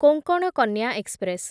Konkan Kanya express